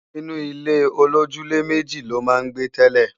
Inú ilé-olójúlé-méjì ló máa ń gbé tẹ́lẹ̀